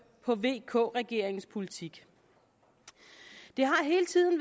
på vk regeringens politik det har hele tiden